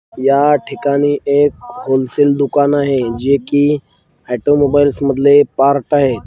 या ठिकाणी एक होलसेल दुकान आहे जे की ऑटोमोबाईल्स मधलं पार्ट आहे.